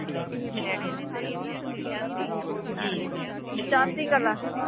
ਚੜ੍ਹਦੀ ਕਲਾ